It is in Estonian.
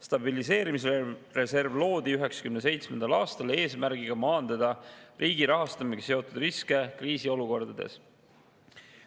Stabiliseerimisreserv loodi 1997. aastal eesmärgiga maandada riigi rahastamisega seotud riske kriisiolukordades.